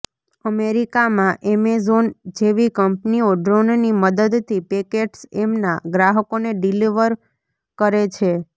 અમેરિકામાં એમેઝોન જેવી કંપનીઓ ડ્રોનની મદદથી પેકેટ્સ એમના ગ્રાહકોને ડિલીવર કરે છે